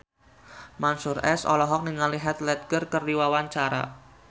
Mansyur S olohok ningali Heath Ledger keur diwawancara